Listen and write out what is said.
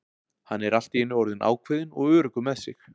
Hann er allt í einu orðinn ákveðinn og öruggur með sig.